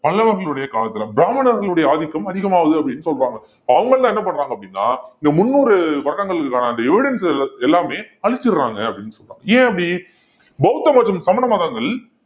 பல்லவர்களுடைய காலத்துல பிராமணர்களுடைய ஆதிக்கம் அதிகமாகுது அப்படின்னு சொல்றாங்க அவங்க எல்லாம் என்ன பண்றாங்க அப்படின்னா இந்த முந்நூறு வருடங்களுக்கான அந்த evidence எல்~ எல்லாமே அழிச்சிடுறாங்க அப்படின்னு சொல்றாங்க ஏன் அப்படி பௌத்த மதம், சமண மதங்கள்